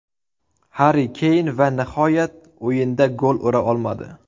Harri Keyn va nihoyat o‘yinda gol ura olmadi.